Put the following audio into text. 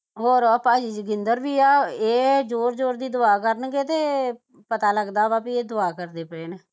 ਹੋਰ ਆ ਭਾਜੀ ਵੀ ਆ ਇਹ ਜੋਰ ਜੋਰ ਦੀ ਦਵਾ ਕਰਨਗੇ ਤੇ ਪਤਾ ਲੱਗਦਾ ਵਾ ਬਈ ਇਹ ਦਵਾ ਕਰਦੇ ਪਏ ਨੇ